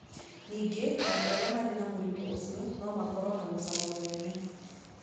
Ningĩ andũ arĩa marĩ na mũrimũ ũcio no makorũo na mũcamo mũnene.